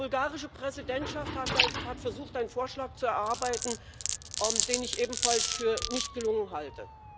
Die bulgarische Präsidentschaft hat versucht, einen Vorschlag zu erarbeiten, den ich ebenfalls für nicht gelungen halte.